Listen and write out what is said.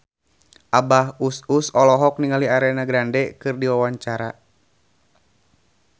Abah Us Us olohok ningali Ariana Grande keur diwawancara